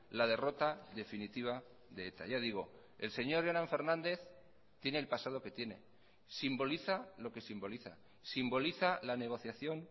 la derrota definitiva de eta ya digo el señor jonan fernández tiene el pasado que tiene simboliza lo que simboliza simboliza la negociación